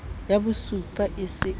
ya bosupa e se e